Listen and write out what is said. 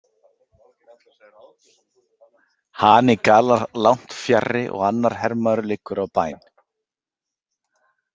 Hani galar langt fjarri og annar hermaður liggur á bæn.